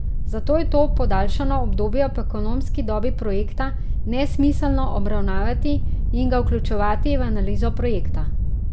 Zato je to podaljšano obdobje po ekonomski dobi projekta nesmiselno obravnavati in ga vključevati v analizo projekta.